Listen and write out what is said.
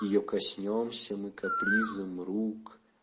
её коснёмся мы капризам рук